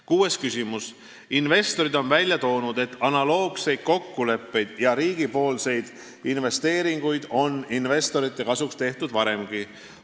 Kuues küsimus: "Investorid on välja toonud, et analoogseid kokkuleppeid ja riigipoolseid investeeringuid on investorite kasuks tehtud varemgi.